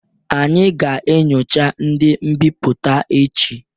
Anyị ga-enyocha ndị mbipụta echi